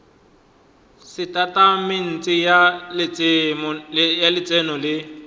le setatamente sa letseno le